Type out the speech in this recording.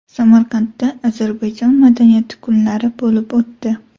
Samarqandda Ozarbayjon madaniyati kunlari bo‘lib o‘tdi.